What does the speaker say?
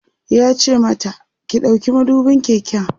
yace mata "ki ɗauki madubin keken!"